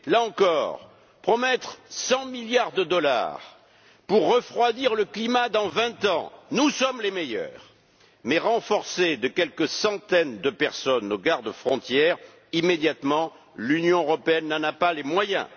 Là encore, promettre 100 milliards de dollars pour refroidir le climat dans vingt ans, nous sommes les meilleurs, mais renforcer de quelques centaines de personnes nos gardes frontières, immédiatement l'Union européenne n'en a pas les moyens.